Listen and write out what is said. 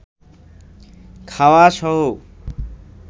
খাওয়া সহ